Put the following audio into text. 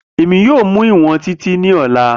Emi yoo mu iwọn Titi ni ọla.